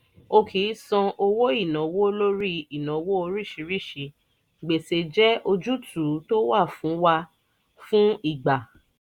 o kì í san owó ìnáwó lórí ìnáwó oríṣiríṣi; gbèsè jẹ́ ojútùú tó wà fún wà fún ìgbà